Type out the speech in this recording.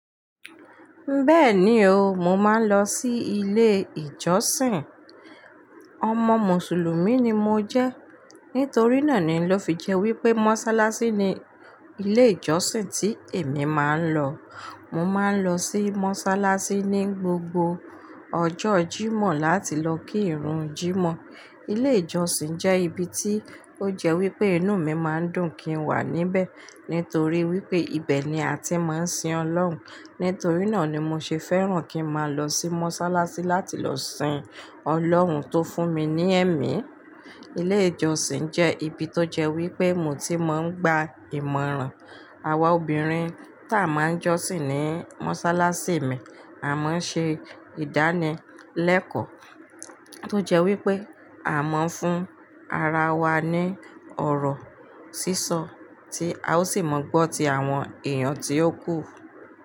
Bẹ́ẹ̀ni o, mo máa ń lọ sí ilé ìjọsìn. Ọmọ Mùsùlùmí ni mo jẹ́. Nítorí náà ni ọ fi jẹ́ wípé mọ́sálásí ni ilé ìjọsìn tí èmi máa ń lọ. Mo máa ń lọ sí mọ́sálásí ní gbogbo ọjọ́ Jímọ̀ láti lọ kí ìrun Jímọ̀. Ilé ìjọsìn jẹ́ ibi tí ó jẹ́ wípé inú mi máa ń dùn kí n wà níbẹ̀. Nítorí wípé ibẹ̀ ni a ti máa ń sin Ọlọ́run. Nítorí náà ni mo ṣe fẹ́ràn kí n máa lọ sí mọ́sálásí láti lọ sin Ọlọ́run tó fún mi ní ẹ̀mí. Ilé ìjọsìn jẹ́ ibi tó jẹ́ wípé mo ti máa ń gba ìmọ̀ràn. Awa obìnrin tá a máa ń jọ́sìn ní mọ́sálásí mi, a máa ń ṣe ìdánilẹ́kọ̀ tó jẹ́ wípé a máa ń fún ara wa ní ọ̀rọ̀ sísọ tí a ó sì máa gbọ́ ti àwọn èèyàn tí ó kù.